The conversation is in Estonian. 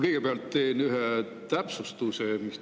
Kõigepealt teen ühe täpsustuse.